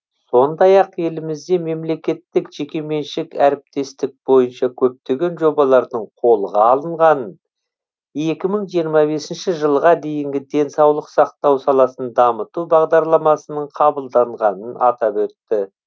сондай ақ елімізде мемлекеттік жекеменшік әріптестік бойынша көптеген жобалардың қолға алынғанын екі мы жиырма бесінші жылға дейінгі денсаулық сақтау саласын дамыту бағдарламасының қабылданғанын атап өтті